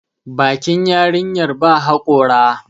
bakin yarinyar ba haƙora